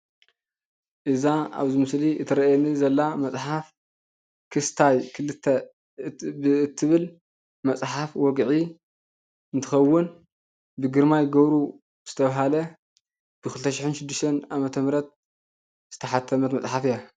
እዛ ኣብዚ ምስሊ እትርአየኒ ዘላ መፅሓፍ ክስታይ 2 እትብል መፅሓፍ ውግዒ እንትከውን ብ ግርማይ ገብሩ ዝተብሃለ 2016 ዓ.ም ዝተሓተመት መፅሓፍ እያ።